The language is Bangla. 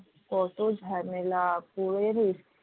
কত ঝামেলা